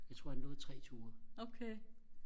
jeg tror han nåede tre ture